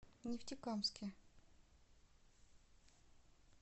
нефтекамске